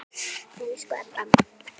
Elsku Ebba amma.